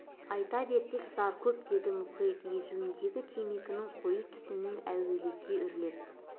айта берсек зар көп деді мұхит езуіндегі темекінің қою түтінін әуелете үрлеп